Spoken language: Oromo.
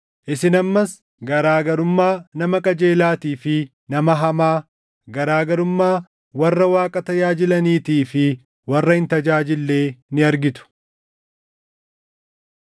Isin ammas garaa garummaa nama qajeelaatii fi nama hamaa, garaa garummaa warra Waaqa tajaajilaniitii fi warra hin tajaajillee ni argitu.